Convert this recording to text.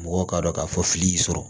Mɔgɔw k'a dɔn k'a fɔ fili y'i sɔrɔ